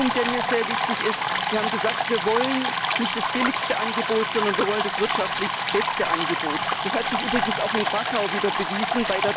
Ein weiterer Punkt, der mir sehr wichtig ist Wir haben gesagt, wir wollen nicht das billigste, sondern das wirtschaftlich beste Angebot. Das hat sich übrigens auch in Krakau wieder bewiesen.